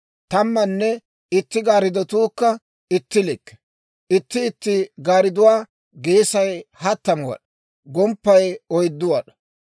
Tammanne itti gaariddatuukka itti likke; itti itti gaaridduwaa geesay hattamu wad'aa, gomppay oyddu wad'aa.